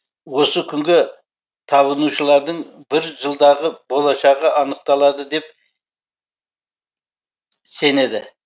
осы күнге табынушылардың бір жылдағы болашағы анықталады деп сенеді